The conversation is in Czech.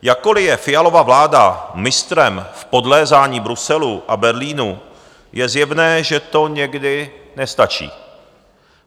Jakkoli je Fialova vláda mistrem v podlézání Bruselu a Berlínu, je zjevné, že to někdy nestačí.